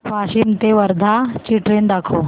वाशिम ते वर्धा ची ट्रेन दाखव